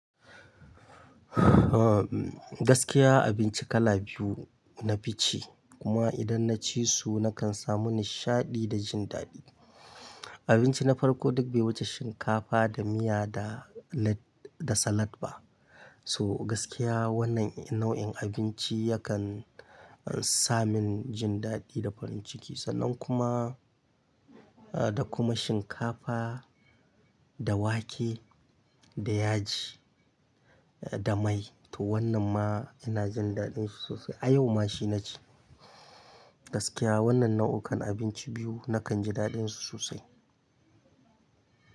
Gaskiya abinci kala biyu na fi ci kuma idan na ci su na kan samu nishaɗi da jin daɗi. Abinci na farko duk bai wuce shinkafa da miya da lad- da salad ba. To gaskiya wannan nau'in abinci yakan sami jin daɗi da farin ciki sannan kuma, ah da kuma shinkafa da wake da yaji da mai to wannan ma ina jin daɗin shi sosai. A yau ma shi na ci. Gaskiya wannan nau'ukan abinci biyu na kan ji daɗin su sosai.